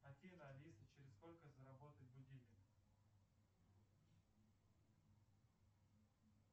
афина алиса через сколько заработает будильник